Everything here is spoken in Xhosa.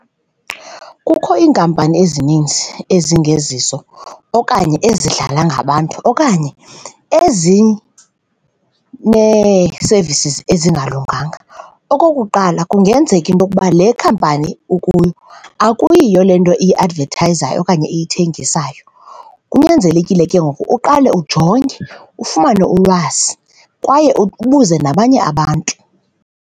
Kukho iinkampani ezininzi ezingezizo okanye ezidlala ngabantu okanye ezinee-services ezingalunganga. Okokuqala, kungenzeka ke into yokuba le khampani ukuyo akuyiyo le nto iyiatvethayizayo okanye iyithengisayo, kunyanzelekile ke ngoku uqale ujonge, ufumane ulwazi kwaye ubuze nabanye abantu.